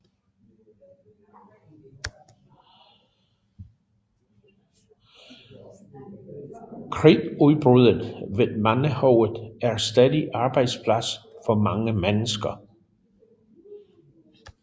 Kridtbruddet ved Mandehoved er stadig arbejdsplads for mange mennesker